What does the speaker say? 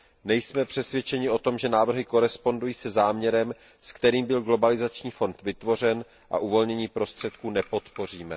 Nejsme přesvědčeni o tom, že návrhy odpovídají záměru, se kterým byl globalizační fond vytvořen, a uvolnění prostředků nepodpoříme.